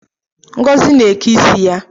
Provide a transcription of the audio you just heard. Ngozi na-eke ịsị ya